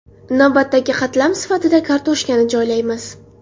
Navbatdagi qatlam sifatida kartoshkani joylaymiz.